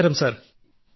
നമസ്ക്കാരം സർ